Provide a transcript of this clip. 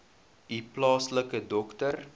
u plaaslike dokter